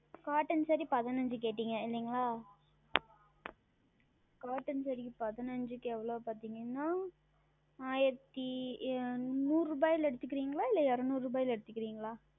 Cotton Saree பதினைந்து கேட்டீர்கள் அல்லவா Cotton Saree க்கு பதினைந்துக்கு எவ்வளவு என்று பார்த்தீர்கள் என்றால் ஆயிரத்து நூறு ரூபாய்ல எடுத்து கொல்லுகிறீர்களா இல்லை இருனூறு ரூபாய்ல எடுத்து கொள்ளுகிறீர்களா